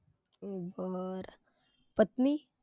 बर. पत्नी?